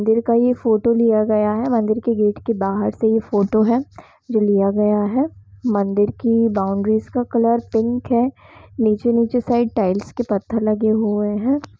मंदिर का ये फोटो लिया गया है मंदिर के गेट का बाहर से यह फोटो है जो लिया गया है मंदिर की बाउड्रीज का कलर पिंक है नीचे नीचे साइड टाइल्स के पत्थर लगे हुए है।